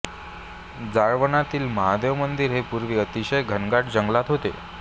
जाळवणातील महादेव मंदिर हे पूर्वी अतिशय घनदाट जंगलात होते